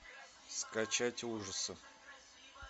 скачать ужасы